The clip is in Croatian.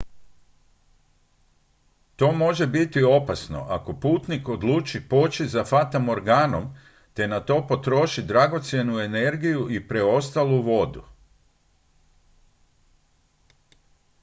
to može biti opasno ako putnik odluči poći za fatamorganom te na to potroši dragocjenu energiju i preostalu vodu